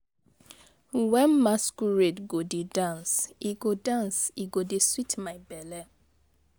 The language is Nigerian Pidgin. Wen masquerade go dey dance, e go dance, e go dey sweet my belle.